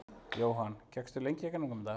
Jóhann: Gekkstu lengi í gegnum þetta?